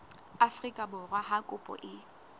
afrika borwa ha kopo e